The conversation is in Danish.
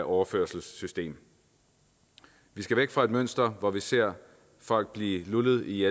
overførselssystem vi skal væk fra et mønster hvor vi ser folk blive lullet i